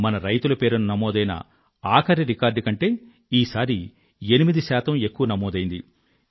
మన రైతుల పేరున నమోదైన ఆఖరి రికార్డ్ కంటే ఈసారి 8 ఎక్కువ నమోదైంది